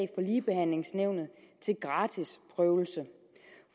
ligebehandlingsnævnet til gratis prøvelse